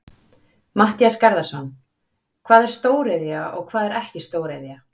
Matthías Garðarsson: Hvað er stóriðja og hvað er ekki stóriðja?